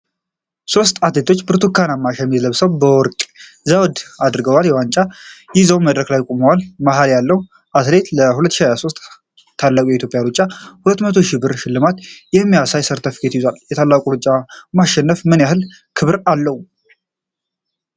ሦስት አትሌቶች ብርቱካንማ ሸሚዝ ለብሰው፣ የወርቅ ዘውድ አድርገው፣ ዋንጫዎቻቸውን ይዘው መድረክ ላይ ቆመዋል። መሀል ያለው አትሌት ለ"2023 ታላቁ የኢትዮጵያ ሩጫ" የ200,000 ብር ሽልማት የሚያሳይ ሰርተፍኬት ይዟል። ለታላቁ ሩጫ ማሸነፍ ምን ያህል ክብር አለው?